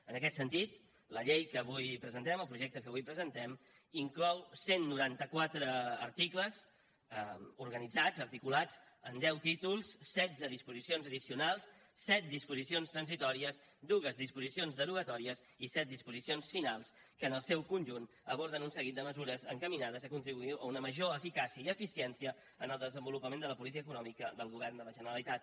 en aquest sentit la llei que avui presentem el projecte que avui presentem inclou cent i noranta quatre articles organitzats articulats en deu títols setze disposicions addicionals set disposicions transitòries dos disposicions derogatòries i set disposicions finals que en el seu conjunt aborden un seguit de mesures encaminades a contribuir a una major eficàcia i eficiència en el desenvolupament de la política econòmica del govern de la generalitat